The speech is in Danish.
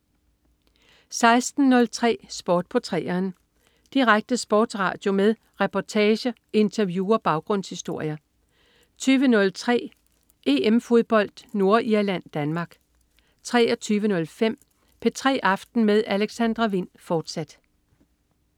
16.03 Sport på 3'eren. Direkte sportsradio med reportager, interview og baggrundshistorier 20.03 EM-fodbold: Nordirland-Danmark 23.05 P3 aften med Alexandra Wind, fortsat